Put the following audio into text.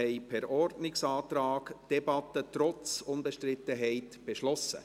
Per Ordnungsantrag haben wir trotz Unbestrittenheit eine Debatte beschlossen.